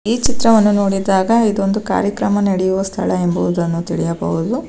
ಈ ಚಿತ್ರವನ್ನು ನೋಡಿದಾಗ ಇದು ಒಂದು ಕಾರ್ಯಕ್ರಮ ನಡೆಯುವ ಸ್ಥಳ ಎಂಬುದನ್ನು ತಿಳಿಯಬಹುದು.